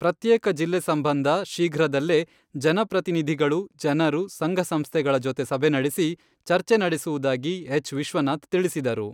ಪ್ರತ್ಯೇಕ ಜಿಲ್ಲೆ ಸಂಬಂಧ ಶೀಘ್ರದಲ್ಲೇ ಜನಪ್ರತಿನಿಧಿಗಳು, ಜನರು, ಸಂಘಸಂಸ್ಥೆಗಳ ಜತೆ ಸಭೆ ನಡೆಸಿ ಚರ್ಚೆ ನಡೆಸುವುದಾಗಿ ಹೆಚ್.ವಿಶ್ವನಾಥ್ ತಿಳಿಸಿದರು.